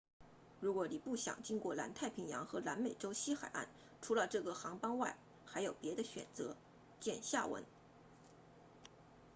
如果你不想经过南太平洋和南美洲西海岸除了这个航班外还有别的选择见下文